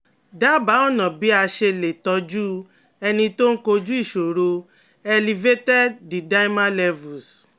Dábàá ọ̀nà bí a ṣe lè tọ́jú ẹni tó ń kojú ìṣòro elevated d-dimer levels